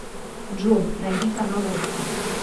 джой найди канал рбк